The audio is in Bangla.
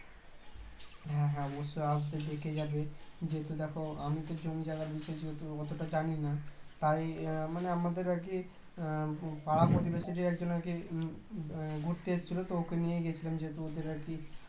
হ্যাঁ হ্যাঁ অবশ্যই আসবে দেখে যাবে যেহেতু দেখো আমি তো জমি জায়গা নিয়ে অতটা জানিনা তাই উম আমাদের আর কি আহ পাড়াপ্রতিবেশীদের একজন আর কি ঘুরতে এসেছিলো তো ওকে নিয়ে গিয়েছিলাম যেহেতু ওদের আর কি